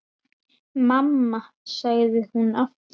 Mamma, sagði hún aftur.